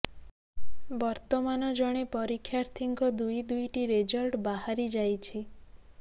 ବର୍ତ୍ତମାନ ଜଣେ ପରୀକ୍ଷାର୍ଥୀଙ୍କ ଦୁଇ ଦୁଇଟି ରେଜଲ୍ଟ ବାହାରି ଯାଇଛି